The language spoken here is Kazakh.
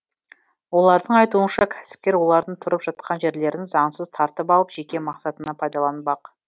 олардың айтуынша кәсіпкер олардың тұрып жатқан жерлерін заңсыз тартып алып жеке мақсатына пайдаланбақ